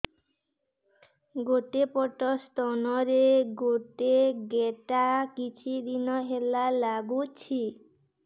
ଗୋଟେ ପଟ ସ୍ତନ ରେ ଗୋଟେ ଗେଟା କିଛି ଦିନ ହେଲା ଲାଗୁଛି